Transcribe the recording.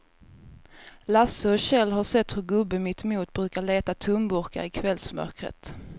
Lasse och Kjell har sett hur gubben mittemot brukar leta tomburkar i kvällsmörkret.